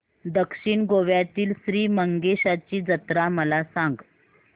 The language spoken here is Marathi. दक्षिण गोव्यातील श्री मंगेशाची जत्रा मला सांग